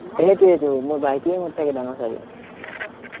সেইটোৱেটো, মোৰ ভাইটিয়ে মোত থাকি ডাঙৰ চাগে